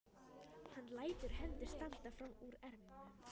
Hann lætur hendur standa fram úr ermum.